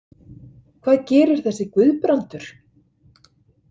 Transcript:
Hvað gerir þessi Guðbrandur?